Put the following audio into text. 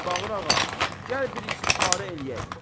Mirbağır ağa, gəl bir istixarə eləyək.